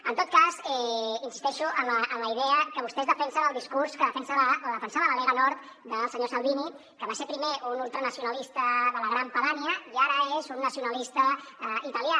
en tot cas insisteixo en la idea que vostès defensen el discurs que defensa o defensava la lega nord del senyor salvini que va ser primer un ultranacionalista de la gran padània i ara és un nacionalista italià